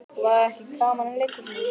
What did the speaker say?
Og var ekki gaman í leikhúsinu?